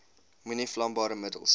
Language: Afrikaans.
moenie vlambare middels